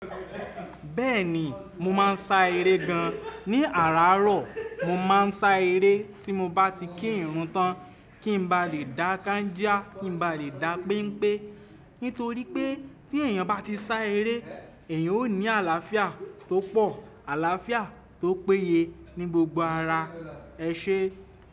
Bẹ́ẹ̀ni mo máa ń sá eré gan. Ní àràrárọ̀ mo máa ń sá eré tí mo bá ti kí ìrun tán kín ba lè dá káńjà, kí n ba lè dá pẹ́npẹ́. Nítorí pé tí èèyàn bá ti sá eré, èèyàn ó ní àlàáfíà tó pọ̀, àlàáfíà tó péye ní gbogbo ara ẹṣẹ.